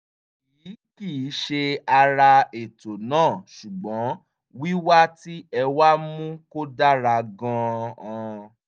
èyí kì í ṣe ara ètò náà ṣùgbọ́n wíwá tí ẹ wá mú kó dára gan-an